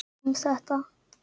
Hann skuli sjá um þetta.